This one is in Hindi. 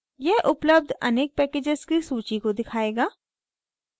यह उपलब्ध अनेक packages की सूची को दिखायेगा